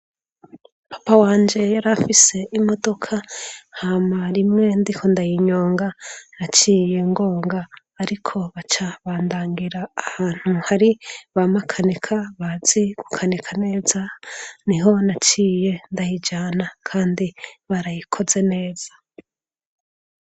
papa wanjye yari afise imodoka hama rimwe ndiko ndayinyonga naciye ngonga ariko baca bandangira ahantu hari bamakaneka bazi kukaneka neza niho naciye ndayijana kandi barayikoze neza